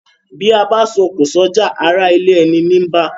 Bí abá so òkò sójà ará ilé eni ní bá